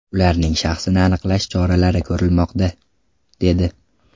Ularning shaxsini aniqlash choralari ko‘rilmoqda”, dedi.